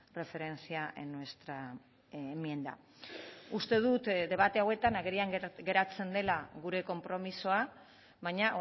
referencia en nuestra enmienda uste dut debate hauetan agerian geratzen dela gure konpromisoa baina